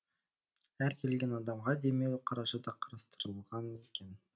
әр келген адамға демеу қаржы да қарастырылған екен